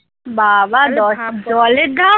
বা বা দশ জলের